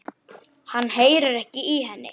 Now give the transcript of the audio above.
Hann heyrir ekki í henni.